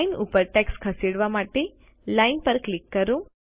line ઉપર text ખસેડવા માટે લાઈન પર ક્લિક કરો